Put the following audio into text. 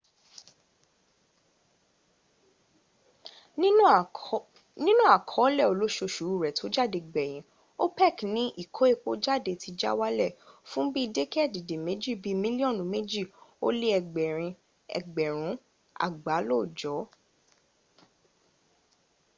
nínú àkọọ́lẹ̀ olóosòṣù rẹ tó jáde gbèyìǹ opec ní ìkó epo jáde ti já wálẹ̀ fún bí i dẹ́kéèdèméjì bíi mílíọ̀nù mẹ́jì ó lé ẹgbẹ̀rin ẹgbẹ̀rún àgbá lóòjọ́